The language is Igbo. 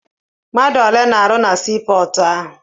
Mmadụ ole na-arụ na sii pọọtụ ahụ?